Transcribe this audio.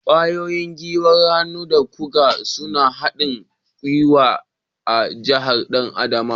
Gwiwoyi, gwiwar hannu da kugu sune haɗin gwiwa a jikin ɗan adam.